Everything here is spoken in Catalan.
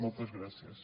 moltes gràcies